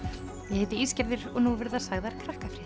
ég heiti Ísgerður og nú verða sagðar